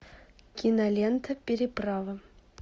кинолента переправа